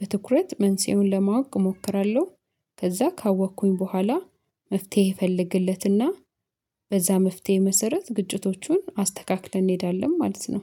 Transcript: በትኩረት መንስኤውን ለማወቅ እሞክራለሁ። ከዛ ካወኩኝ በኋላ መፍትሄ እፈልግለትና በዛ መፍትሄ መሰረት ግጭቶቹን አስተካክለን እንሄዳለን። ማለት ነው።